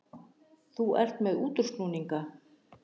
Þú ert með útúrsnúninga.